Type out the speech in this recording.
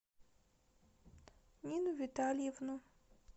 нину витальевну